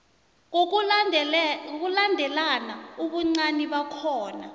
ngokulandelana ubuncani bakhona